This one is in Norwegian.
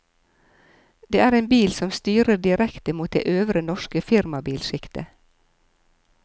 Det er en bil som styrer direkte mot det øvre norske firmabilskiktet.